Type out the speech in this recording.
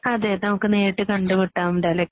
അതേ. നമുക്ക് നേരിട്ട് കണ്ടുമുട്ടാം എന്തായാലും.